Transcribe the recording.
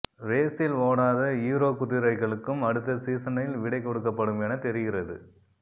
ரேஸில் ஓடாத ஹீரோ குதிரைகளுக்கும் அடுத்த சீசனில் விடை கொடுக்கப்படும் என தெரிகிறது